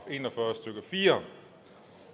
en og fyrre stykke fire